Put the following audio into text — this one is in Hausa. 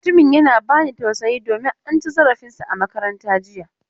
Mutumin yana ba ni tausayi domin an ci zarafin sa a makaranta jiya.